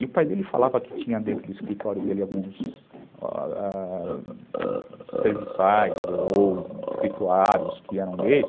E o pai dele falava que tinha dentro do escritório dele alguns ãh... serviçais ou escriturários que eram gays.